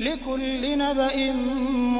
لِّكُلِّ نَبَإٍ